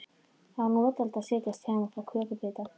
Það var notalegt að setjast hjá þeim og fá kökubita.